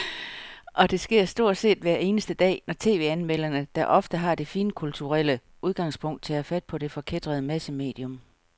Og det sker stort set hver eneste dag, når tv-anmelderne, der ofte har det finkulturelle udgangspunkt, tager fat på det forkætrede massemedium.